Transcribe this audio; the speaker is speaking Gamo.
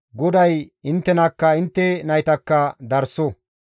GODAY inttenakka intte naytakka darso!